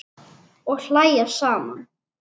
Og hlæja saman.